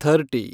thirty